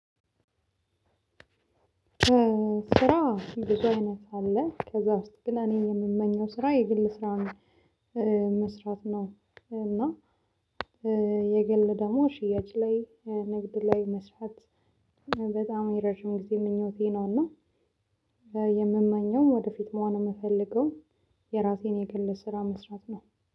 ስራ ብዙ አይነት አለ ከዛ ውስጥ ግን እኔ የምመኘው ስራ የግል ስራ መስራት ነው። እና የግል ደግሞ ሽያጭ ላይ ንግድ ላይ መስራት በጣም የረጅም ጊዜ ምኞቴ ነውና። የምመኘው ወደፊት መሆን የምፈልገው የራሴን የግል ስራ መስራት ነው።